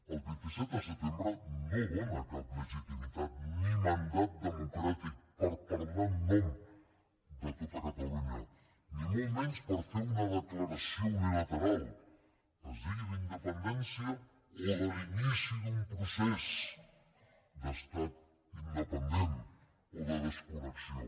el vint set de setembre no dóna cap legitimitat ni mandat democràtic per parlar en nom de tot catalunya ni molt menys per fer una declaració unilateral es digui d’independència o de l’inici d’un procés d’estat independent o de desconnexió